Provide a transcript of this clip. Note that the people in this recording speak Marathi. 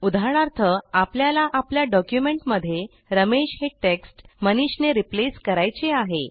उदाहरणार्थ आपल्याला आपल्या डॉक्युमेंटमध्ये रमेश हे टेक्स्ट मनीष ने रिप्लेस करायचे आहे